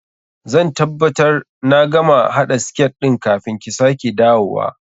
Zan tabbabtar na gama haɗa siket ɗin kafin ki sake dawowa.